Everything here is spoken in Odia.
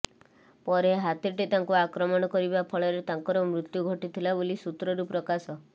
ପରେ ହାତୀଟି ତାଙ୍କୁ ଆକ୍ରମଣ କରିବା ଫଳରେ ତାଙ୍କର ମୃତ୍ୟୁ ଘଟିଥିଲା ବୋଲି ସୁତ୍ରରୁ ପ୍ରକାଶ